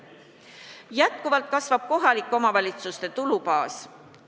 Jätkuvalt kasvab kohalike omavalitsuste tulubaas.